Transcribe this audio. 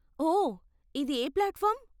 ఓ, ఇది ఏ ప్లాట్ఫార్మ్?